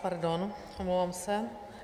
Pardon, omlouvám se.